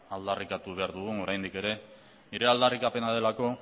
aldarrikatu behar dugun oraindik ere nire aldarrikapena delako